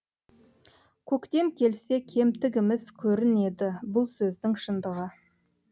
көктем келсе кемтігіміз көрінеді бұл сөздің шындығы